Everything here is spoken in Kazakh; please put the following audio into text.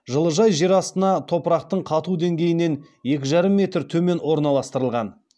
жылыжай жер астына топырақтың қату деңгейінен екі жарым метр төмен орналастырылған